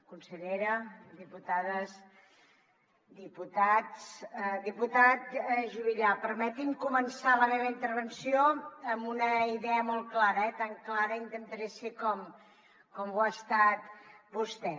consellera diputades diputats diputat juvillà permeti’m començar la meva intervenció amb una idea molt clara eh tan clara intentaré ser com ho ha estat vostè